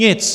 Nic!